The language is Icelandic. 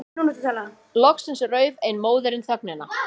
Loksins rauf ein móðirin þögnina.